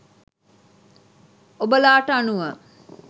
ඔබලාට අනුව